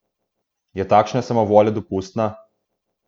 Je takšna samovolja dopustna?